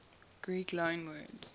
greek loanwords